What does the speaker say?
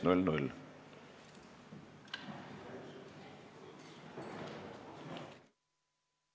Istungi lõpp kell 11.43.